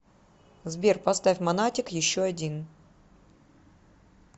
сбер поставь монатик еще один